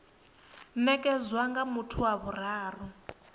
nekedzwa nga muthu wa vhuraru